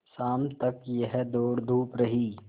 शाम तक यह दौड़धूप रही